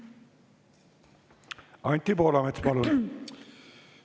Anti Poolamets, palun!